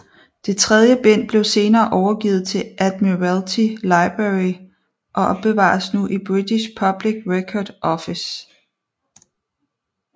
Det tredje bind blev senere overgivet til Admiralty Library og opbevares nu i British Public Record Office